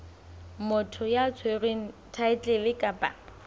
motho ya tshwereng thaetlele kapa